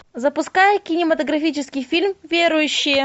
запускай кинематографический фильм верующие